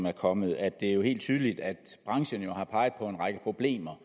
er kommet at det er helt tydeligt at branchen har peget på en række problemer